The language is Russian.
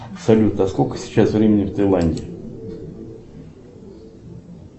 салют а сколько сейчас времени в тайланде